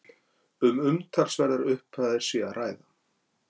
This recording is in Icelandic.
Um umtalsverðar upphæðir sé að ræða